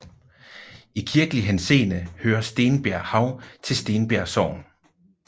I kirkelig henseende hører Stenbjerghav til Stenbjerg Sogn